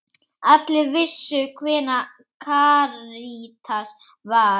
Allir vissu hver Karítas var.